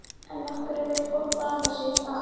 En af hverju vill fólk baða sig í þara?